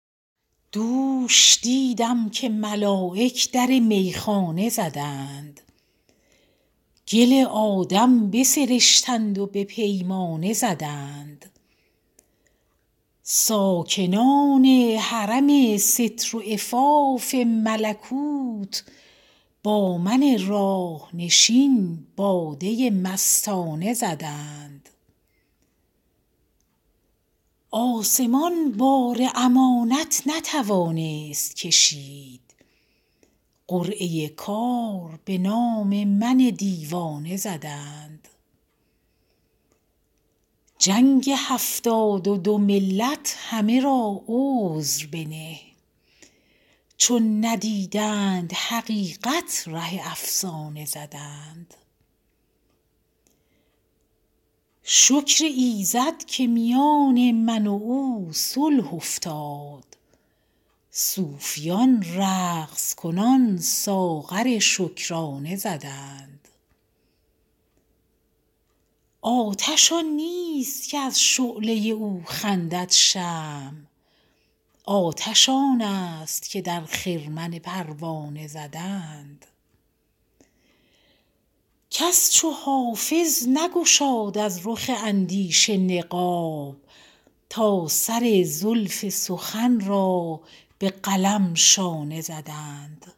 دوش دیدم که ملایک در میخانه زدند گل آدم بسرشتند و به پیمانه زدند ساکنان حرم ستر و عفاف ملکوت با من راه نشین باده مستانه زدند آسمان بار امانت نتوانست کشید قرعه کار به نام من دیوانه زدند جنگ هفتاد و دو ملت همه را عذر بنه چون ندیدند حقیقت ره افسانه زدند شکر ایزد که میان من و او صلح افتاد صوفیان رقص کنان ساغر شکرانه زدند آتش آن نیست که از شعله او خندد شمع آتش آن است که در خرمن پروانه زدند کس چو حافظ نگشاد از رخ اندیشه نقاب تا سر زلف سخن را به قلم شانه زدند